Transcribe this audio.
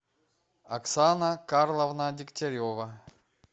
оксана карловна дегтярева